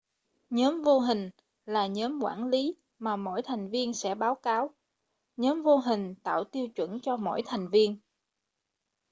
nhóm vô hình là nhóm quản lý mà mỗi thành viên sẽ báo cáo nhóm vô hình tạo tiêu chuẩn cho mỗi thành viên